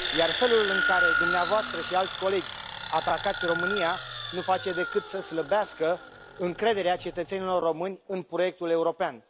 Felul în care dumneavoastră și alți colegi atacați România nu face decât să slăbească încrederea cetățenilor români în proiectul european.